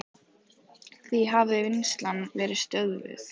Því hafi vinnslan verið stöðvuð.